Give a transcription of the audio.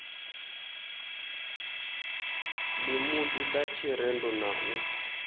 ḽimudi ḽa tshirendo na u